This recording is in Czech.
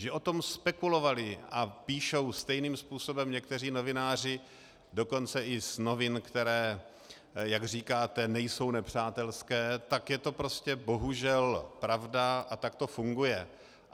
Že o tom spekulovali a píšou stejným způsobem někteří novináři dokonce i z novin, které jak říkáte, nejsou nepřátelské, tak je to prostě bohužel pravda a tak to funguje.